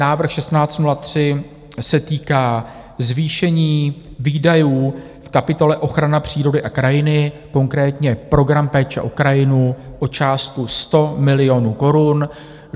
Návrh 1603 se týká zvýšení výdajů v kapitole Ochrana přírody a krajiny, konkrétně program Péče o krajinu, o částku 100 milionů korun.